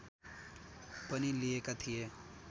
पनि लिएका थिए